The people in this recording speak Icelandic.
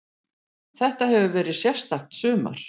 Þetta hefur verið sérstakt sumar.